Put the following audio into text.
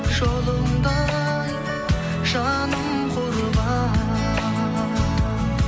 жолыңда ай жаным құрбан